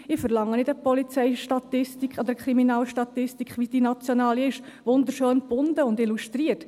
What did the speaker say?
Ich verlange nicht eine Polizeistatistik oder eine Kriminalstatistik, wie die nationale, wunderschön gebunden und illustriert.